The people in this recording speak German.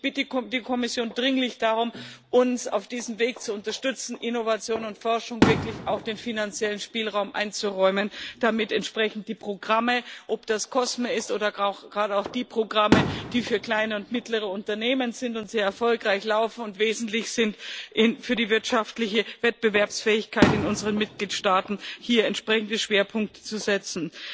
Ich bitte die Kommission dringlich darum, uns auf diesem Weg zu unterstützen, Innovation und Forschung wirklich auch den finanziellen Spielraum einzuräumen, damit entsprechend die Programme ob das COSME ist oder gerade auch die Programme, die für kleine und mittlere Unternehmen sind und sehr erfolgreich laufen und wesentlich sind für die wirtschaftliche Wettbewerbsfähigkeit in unseren Mitgliedstaaten hier entsprechende Schwerpunkte setzen.